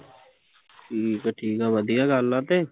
ਠੀਕ ਆ ਠੀਕ ਆ ਵਧੀਆ ਗੱਲ ਆ ਤੇ